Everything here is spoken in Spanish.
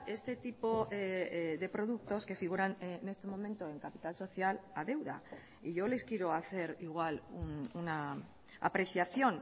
este tipo de productos que figuran en este momento en capital social a deuda y yo les quiero hacer igual una apreciación